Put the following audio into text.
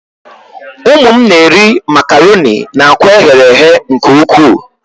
Ụmụ m na-eri macarọnị na akwa eghere eghe nke ukwuu.